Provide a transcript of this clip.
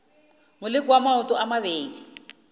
moleko wa maoto a mabedi